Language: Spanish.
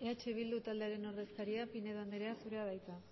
eh bildu taldearen ordezkaria pinedo andrea zurea da hitza